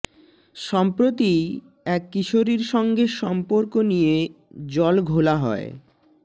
সম্প্রতিই এক কিশোরীর সঙ্গে সম্পর্ক নিয়ে জল ঘোলা হয়